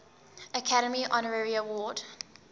academy honorary award